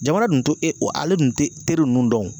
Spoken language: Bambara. Jamana dun tɛ e ale dun tɛ teri ninnu dɔn.